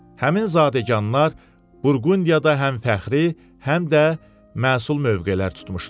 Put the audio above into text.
Həmin zadəganlar Burqundiyada həm fəxri, həm də məsul mövqelər tutmuşdular.